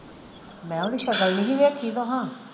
ਮੈਂ ਕਿਹਾ ਓਹਦੀ ਸ਼ਕਲ ਨਹੀਂ ਸੀ ਵੇਖੀ ਤੁਹਾਂ?